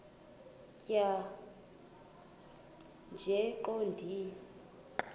tjhaya nje iqondee